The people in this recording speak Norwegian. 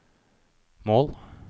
mål